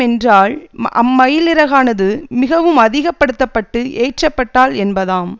என்றால் அம்மயிலிறகானது மிகவும் அதிக்கப்படுத்தப்பட்டு ஏற்றப்பட்டால் என்பதாம்